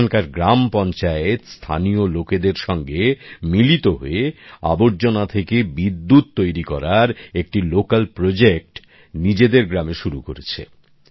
এখানকার গ্রাম পঞ্চায়েত স্থানীয় লোকেদের সঙ্গে মিলিত হয়ে আবর্জনা থেকে বিদ্যুৎ তৈরি করার একটি স্থানীয় প্রকল্প নিজেদের গ্রামে শুরু করেছে